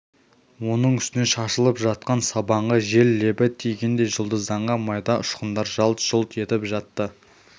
оның үстіне шашылып жатқан сабанға жел лебі тигендей жұлдызданған майда ұшқындар жалт-жұлт етіп жатты